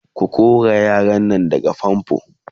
ko kora yaran Nan daga fanfo!